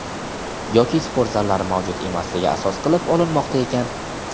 yoki sport zallari mavjud emasligi asos qilib olinmoqda ekan.